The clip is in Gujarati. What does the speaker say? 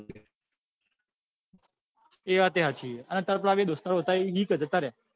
એ વાત એ સાચી છે આ તાર પેલા દોસ્તારો હતા એ છે કે જતા રહ્યા